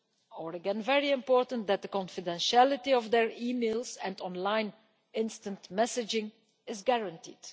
or again very important that the confidentiality of their emails and online instant messaging is guaranteed.